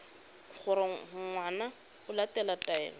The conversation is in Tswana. gore ngwana o latela taelo